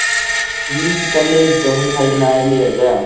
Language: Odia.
tiffin କଲି ଆଜି chowmein ଖାଇକିନା ଆଇଲି ଏବେ ଆଉ।